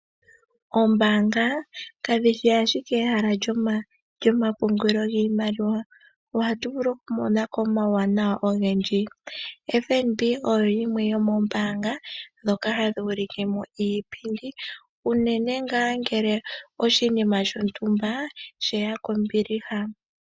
Ombaanga kadhishi ashike ehala lyokupungula iimaliwa ohatu vulu okumona ko omauwanawa ogendji. FNB oyo yimwe yomombaanga ndhoka hadhi ulikemo iipindi unene ngaa ngele oshinima shontumba sheya kombiliha.